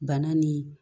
Bana ni